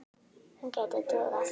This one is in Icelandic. Hún gæti dugað.